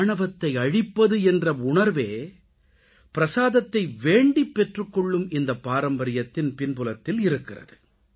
ஆணவத்தை அழிப்பது என்ற உணர்வே பிரஸாதத்தை வேண்டிப் பெற்றுக்கொள்ளும் இந்தப்பாரம்பரியத்தின் பின்புலத்தில் இருக்கிறது